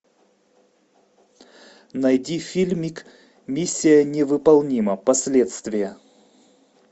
найди фильмик миссия невыполнима последствия